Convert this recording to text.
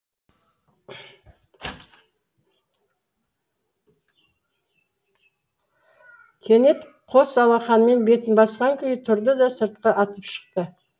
кенет қос алақанымен бетін басқан күйі тұрды да сыртқа атып шықты